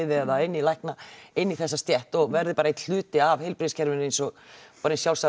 eða inn í lækna inn í þessa stétt og verði bara einn hluti af heilbrigðiskerfinu eins og bara eins sjálfsagður